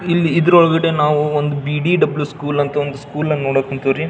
ಇಲ್ಲಿ ಇದ್ರೊಳಗಡೆ ನಾವು ಒಂದು ಬಿ_ಡಿ_ಡಬ್ಲ್ಯೂ ಸ್ಕೂಲ್ ಅಂತ ಒಂದು ಸ್ಕೂಲ್ ನ ನೋಡಕ್ ಕುಂತವ್ರಿ.